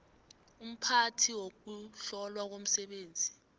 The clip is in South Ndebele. umphathi wokuhlolwa komsebenzi